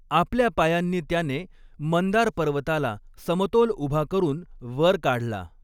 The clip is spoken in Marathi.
आपल्या पायांनी त्याने मंदारपर्वताला समतोल उभा करून वर काढला.